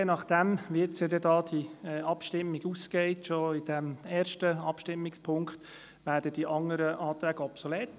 Je nachdem, wie die Abstimmung ausgehen wird, werden die anderen Anträge obsolet.